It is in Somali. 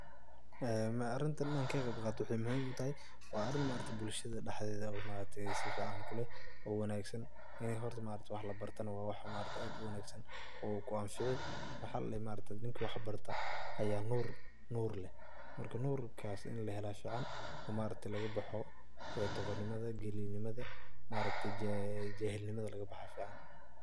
Arintan inan ka qeybqato waxay muhim utahay, wa arin bulshadha daxdedha safican lug kuleh o wanagsan, ini horta wax labarto wa wax aad uwanagsan o ku anficiwaxa ladahay ninki wax barto aya nuur leh, nurkas in lahela aya fican oo lagabaxo doqon nimadha, dulinimadha jahilnimadha lagabaxa aya fican.